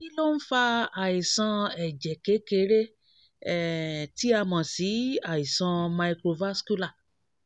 kí ló ń fa àìsàn ẹ̀jẹ̀ ẹ̀jẹ̀ kékeré um tí a mọ̀ sí àìsàn microvascular?